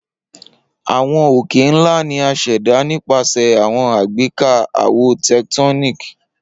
Awọn oke-nla ni a ṣẹda nipasẹ awọn agbeka awo tectonic.